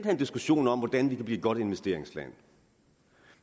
en diskussion om hvordan vi kan blive et godt investeringsland